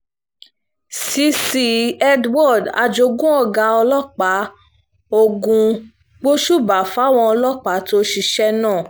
cc edward ajogun ọ̀gá ọlọ́pàá ogun gbósùbà fáwọn ọlọ́pàá tó ṣiṣẹ́ náà